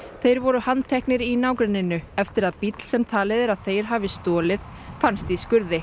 þeir voru handteknir í nágrenninu eftir að bíll sem talið er að þeir hafi stolið fannst í skurði